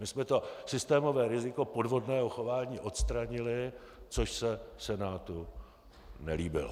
My jsme to systémové riziko podvodného chování odstranili, což se Senátu nelíbilo.